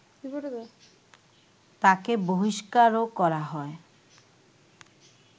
তাঁকে বহিষ্কারও করা হয়